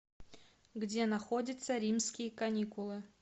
где находится римские каникулы